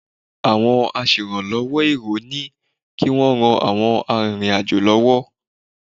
Àwọn aṣèràlọ́wọ́ èrò ni kí wọ́n ran àwọn arìnrìn-àjò lọ́wọ́.